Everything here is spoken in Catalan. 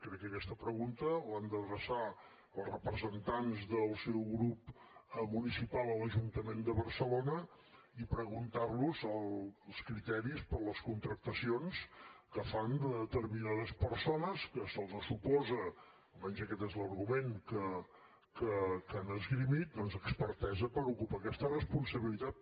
crec que aquesta pregunta l’han d’adreçar als representats del seu grup municipal a l’ajuntament de barcelona i preguntar los els criteris per a les contractacions que fan de determinades persones que se’ls suposa almenys aquest és l’argument que han esgrimit doncs expertesa per ocupar aquesta responsabilitat